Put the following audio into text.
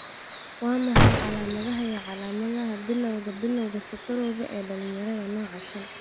Waa maxay calamadaha iyo calaamadaha Bilawga Bilawga sokorowga ee dhalinyarada, nooca shan?